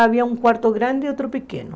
Havia um quarto grande e outro pequeno.